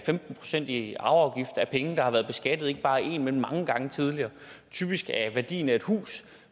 procent i arveafgift af penge der har været beskattet ikke bare én men mange gange tidligere typisk er det værdien af et hus